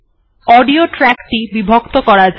audio track টি বিভক্ত করা যাক